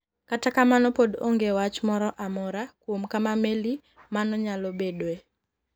Kata kamano pod onge wach moro amora kuom kama meli ma no nyalo bedoe.